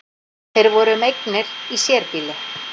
Þeir voru um eignir í sérbýli